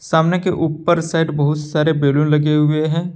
सामने के ऊपर साइड बहुत सारे बैलून लगे हुए हैं।